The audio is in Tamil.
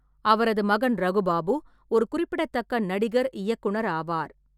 அவரது மகன் ரகு பாபு ஒரு குறிப்பிடத்தக்க நடிகர்-இயக்குனர் ஆவார்.